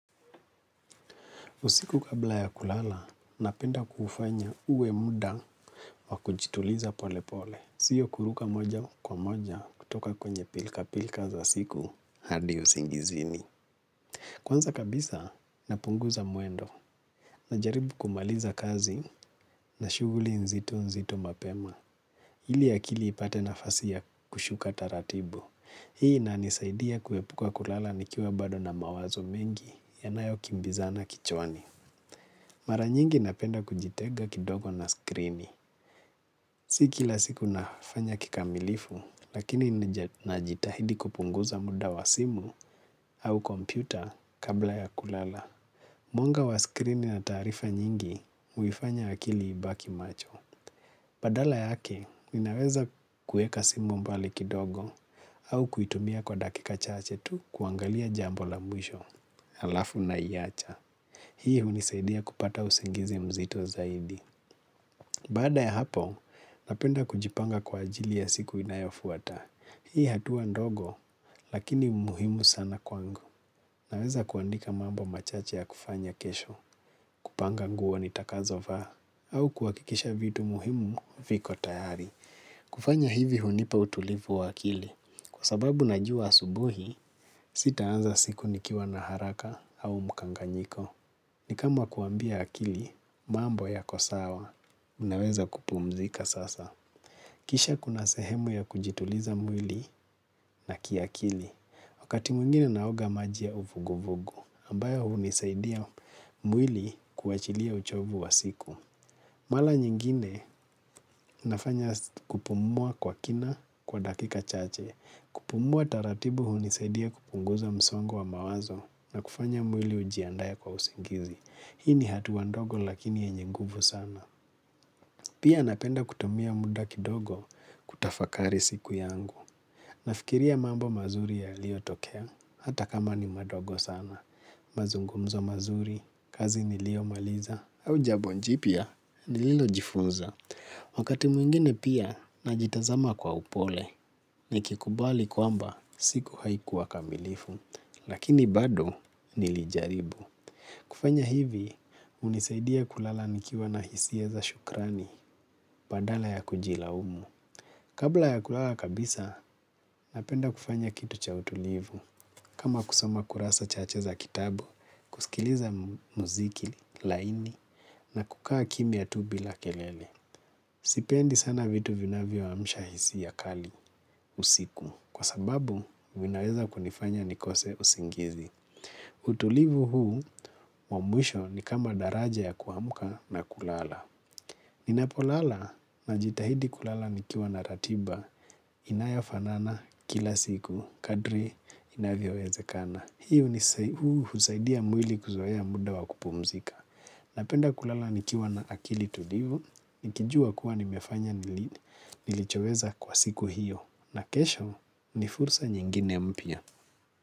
Usiku kabla ya kulala, napenda kufanya uwe muda wa kujituliza pole pole. Siyo kuruka moja kwa moja kutoka kwenye pilika pilika za siku hadi usingizini. Kwanza kabisa, napunguza mwendo najaribu kumaliza kazi na shughuli nzito nzito mapema. Iliakili ipate nafasi ya kushuka taratibu. Hii inanisaidia kuepuka kulala nikiwa bado na mawazo mengi yanayokimbizana kichwani. Mara nyingi napenda kujitenga kidogo na skrini. Si kila siku nafanya kikamilifu, lakini najitahidi kupunguza muda wa simu au kompyuta kabla ya kulala. Mwanga wa skrini na taarifa nyingi, huifanya akili ibaki macho. Badala yake, ninaweza kuweka simu mbali kidogo au kuitumia kwa dakika chache tu kuangalia jambo la mwisho, alafu naiacha. Hii hunisaidia kupata usingizi mzito zaidi. Baada ya hapo, napenda kujipanga kwaajili ya siku inayofuata. Hii hatua ndogo, lakini muhimu sana kwangu. Naweza kuandika mambo machache yakufanya kesho, kupanga nguo nitakazo vaa, au kuhakikisha vitu muhimu viko tayari. Kufanya hivi hunipa utulivu wa akili. Kwa sababu najua asubuhi, sitaanza siku nikiwa na haraka au mkanganyiko. Ni kama kuambia akili, mambo yako sawa, unaweza kupumzika sasa. Kisha kuna sehemu ya kujituliza mwili na kiakili. Wakati mwingine naoga maji ya uvuguvugu, ambayo hunisaidia mwili kuachilia uchovu wa siku. Mara nyingine nafanya kupumua kwa kina kwa dakika chache. Kupumua taratibu hu nisaidia kupunguza msongo wa mawazo na kufanya mwili ujiandae kwa usingizi. Hii ni hatua ndogo lakini yenye nguvu sana. Pia napenda kutumia muda kidogo kutafakari siku yangu. Nafikiria mambo mazuri yaliotokea. Hata kama ni madogo sana. Mazungumzo mazuri. Kazi niliyomaliza. Au jabonjipya. Nililojifunza. Wakati mwingine pia najitazama kwa upole. Nikikubali kwamba siku haikuwa kamilifu. Lakini bado nilijaribu. Kufanya hivi, hunisaidia kulala nikiwa na hisia za shukrani ya kujilaumu. Kabla ya kulala kabisa, napenda kufanya kitu cha utulivu. Kama kusoma kurasa chache za kitabu, kusikiliza muziki laini na kukaa kimya tu bila kelele. Sipendi sana vitu vinavyoamsha hisia kali, usiku. Kwa sababu, vinaweza kunifanya nikose usingizi. Utulivu huu wa mwisho ni kama daraja ya kuamka na kulala. Ninapolala, najitahidi kulala nikiwa na ratiba inayofanana kila siku kadri inavyowezekana. Huu husaidia mwili kuzoea muda wa kupumzika. Napenda kulala nikiwa na akili tulivu, nikijua kuwa nimefanya nilichoweza kwa siku hiyo na kesho ni fursa nyingine mpya.